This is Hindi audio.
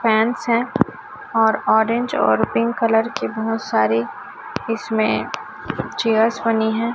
फैंस हैं और ऑरेंज और पिंक कलर की बहोत सारी इसमें चेयर्स बनी हैं।